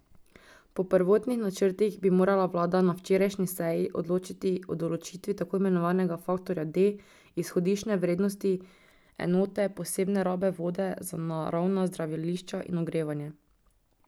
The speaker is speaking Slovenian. Po prvotnih načrtih bi morala vlada na včerajšnji seji odločati o določitvi tako imenovanega faktorja D izhodiščne vrednosti enote posebne rabe vode za naravna zdravilišča in ogrevanje.